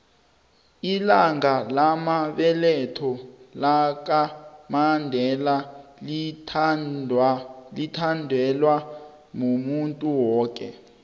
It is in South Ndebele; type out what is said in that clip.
ilanga lamabeletho laka mandela lithabelwa muntuwoke